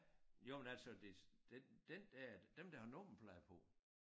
Jo men altså det dem dem der dem der har nummerplade på